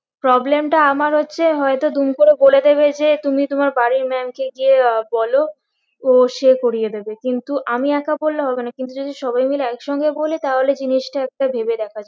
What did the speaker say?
Problem টা আমার হচ্ছে হয়তো দুম করে বলে দেবে যে তুমি তোমার বাড়ির maam কে গিয়ে আহ বলো তো সে করিয়ে দেবে কিন্তু আমি একা বললে হবে না কিন্তু যদি সবাই মিলে এক সঙ্গে বলি তাহলে জিনিসটা একটা ভেবে দেখা যায়